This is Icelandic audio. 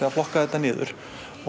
að flokka þetta niður